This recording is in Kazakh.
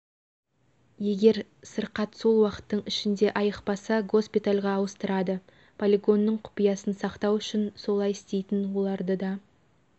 егер сырқат сол уақыттың ішінде айықпаса госпитальға ауыстырады полигонның құпиясын сақтау үшін солай істейтін оларды да